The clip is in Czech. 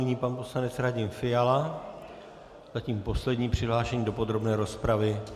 Nyní pan poslanec Radim Fiala, zatím poslední přihlášený do podrobné rozpravy.